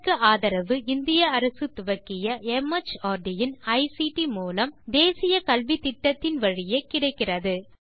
இதற்கு ஆதரவு இந்திய அரசு துவக்கிய மார்ட் இன் ஐசிடி மூலம் தேசிய கல்வித்திட்டத்தின் வழியே கிடைக்கிறது